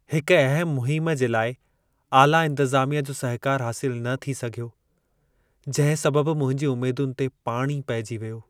हिकु अहमु मुहिमु जे लाइ आला इंतिज़ामिया जो सहकारु हासिलु न थी सघियो जिंहिं सबबि मुंहिंजी उमेदुनि ते पाणी पेइजी वियो।